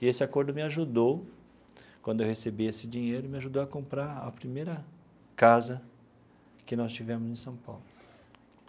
E esse acordo me ajudou, quando eu recebi esse dinheiro, me ajudou a comprar a primeira casa que nós tivemos em São Paulo.